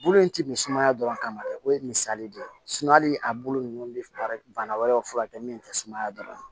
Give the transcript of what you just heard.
Bulu in ti misumaya dɔrɔn kama dɛ o ye misali de ye hali a bulu ninnu bɛ baara bana wɛrɛw furakɛ min tɛ sumaya dɔrɔn